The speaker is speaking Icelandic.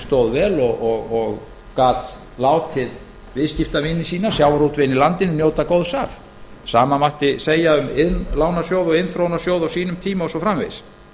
stóð vel og gat látið viðskiptavini sína sjávarútveginn í landinu njóta góðs af sama mátti segja um iðnlánasjóð og iðnþróunarsjóð á sínum tíma og svo framvegis